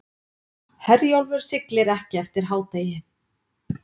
Herjólfur siglir ekki eftir hádegi